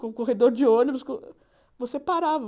Com o corredor de ônibus, com você parava.